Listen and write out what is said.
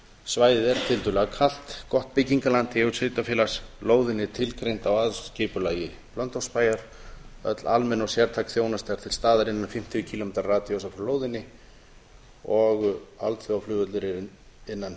svæðið er tiltölulega kalt gott byggingarland í eigu sveitarfélagsins lóðin er tilgreind í aðalskipulagi blönduósbæjar öll almenn og sértæk þjónusta er til staðar innan fimmtíu kílómetra radíusar frá lóðinni alþjóðaflugvöllur er innan